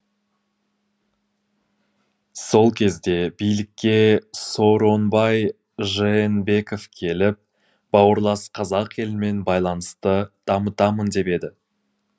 сол кезде билікке сооронбай жээнбеков келіп бауырлас қазақ елімен байланысты дамытамын деп еді